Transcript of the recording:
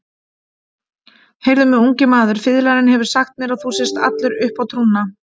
Heyrðu mig, ungi maður, fiðlarinn hefur sagt mér að þú sért allur uppá trúna.